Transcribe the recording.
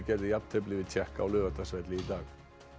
gerði jafntefli við Tékka á Laugardalsvelli í dag